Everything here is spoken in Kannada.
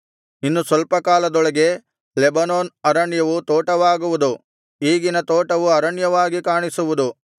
ಇನ್ನು ಸ್ವಲ್ಪ ಕಾಲದೊಳಗೆ ಲೆಬನೋನ್ ಅರಣ್ಯವು ತೋಟವಾಗುವುದು ಈಗಿನ ತೋಟವು ಅರಣ್ಯವಾಗಿ ಕಾಣಿಸುವುದು